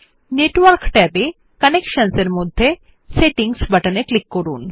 network ট্যাবে কানেকশনসহ এর মধ্যে সেটিংস বাটনে ক্লিক করুন